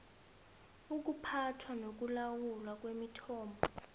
ukuphathwa nokulawulwa kwemithombo